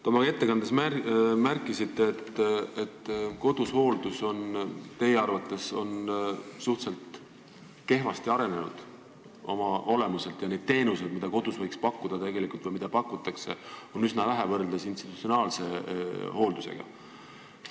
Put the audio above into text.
Te oma ettekandes märkisite, et koduhooldus on teie arvates oma olemuselt suhteliselt kehvasti arenenud ja neid teenuseid, mida kodus võiks pakkuda või mida pakutakse, on institutsionaalse hooldusega võrreldes üsna vähe.